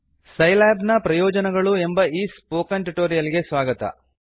Scilab ನ ಪ್ರಯೊಜನಗಳು ಎಂಬ ಈ ಸ್ಪೋಕನ್ ಟ್ಯುಟೋರಿಯಲ್ ಗೆ ಸ್ವಾಗತ